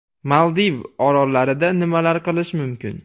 Maldiv orollarida nimalar qilish mumkin?